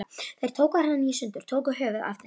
Þeir tóku hana í sundur. tóku höfuðið af þess